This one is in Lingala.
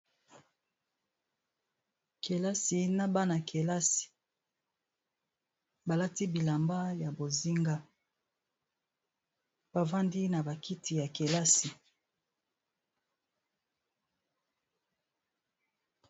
Kelasi na bana-kelasi, balati bilamba ya bozenga bavandi na ba kiti ya kelasi.